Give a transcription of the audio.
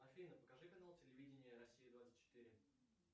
афина покажи канал телевидения россия двадцать четыре